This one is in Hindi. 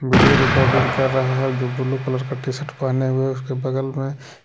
वीडियो रिकॉर्डिंग कर रहा है जो ब्लू कलर का टी शर्ट पहने हुए उसके बगल में--